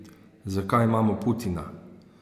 Zakaj imamo Putina?